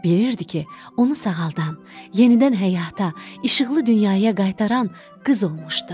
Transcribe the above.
Bilirdi ki, onu sağaldan, yenidən həyata, işıqlı dünyaya qaytaran qız olmuşdu.